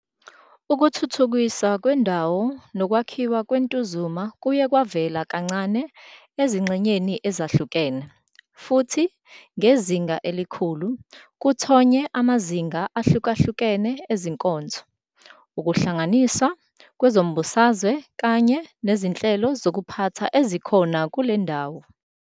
Ukuthuthukiswa kwendawo nokwakhiwa kweNtuzuma kuye kwavela kancane ezingxenyeni ezahlukeni, futhi, ngezinga elikhulu, kuthonye amazinga ahlukahlukene ezinkonzo, ukuhlanganiswa kwezombusazwe kanye nezinhlelo zokuphatha ezikhona kule ndawo.